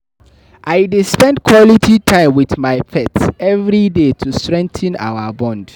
I dey spend quality time with my pet every day to strengthen our bond.